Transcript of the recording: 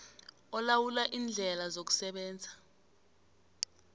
olawula iindlela zokusebenza